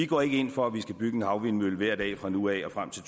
går ind for at vi skal bygge en havvindmølle hver dag fra nu af og frem til